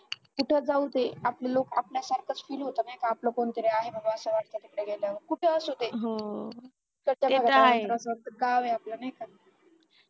आपले लोक आपल्या सारखंच fill होत नाही का आपलं कोणतरी आहे बाबा असं वाटत तिथे गेल्यावर कुठेही असो ते गाव आहे नाही का आपला